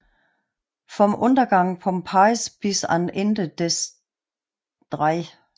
Vom Untergang Pompejis bis ans Ende des 3